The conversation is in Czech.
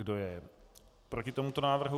Kdo je proti tomuto návrhu?